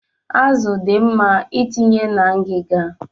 Azụ dị mma itinye na ngiga.